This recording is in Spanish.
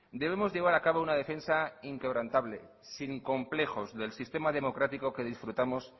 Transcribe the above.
debemos llevar a cabo una defensa inquebrantable sin complejos del sistema democrático que disfrutamos